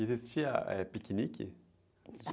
Existia, eh, piquenique?